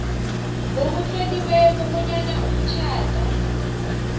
ngokutloliweko bonyana umtjhado